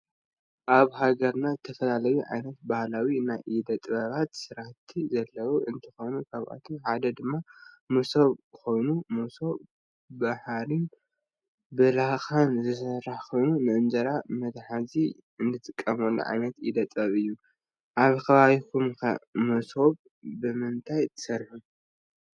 አብ ሃገርና ዝተፈላለዩ ዓይነት ባህላዊ ናይ ኢደ ጥበባት ስራሕቲ ዘለዎ እንትኮኑ ካብአቶም ሓደ ድማ ሞሶብ ኮይኑ ሞሶብ ብሃሪን ብላካን ዝስራሕ ኮይኑ ንእንጀራ መትሐዚ እንጥቀመሉ ዓይነት ኢደ ጥበብ እዩ። አብ ከባቢኩም ከ ሞሶብ ብምንታይ ትሰሩሑ?